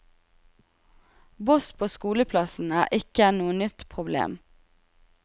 Boss på skoleplassen er ikke noe nytt problem.